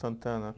Santana.